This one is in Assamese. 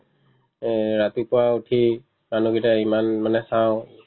এ ৰাতিপুৱা উঠি মানুহ কেইটাক ইমান মানে চাও